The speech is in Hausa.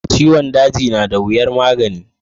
Ciwon daji nada wiyar magani.